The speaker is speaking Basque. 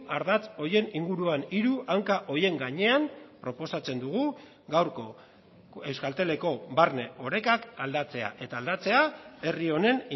ardatz horien inguruan hiru hanka horien gainean proposatzen dugu gaurko euskalteleko barne orekak aldatzea eta aldatzea herri honen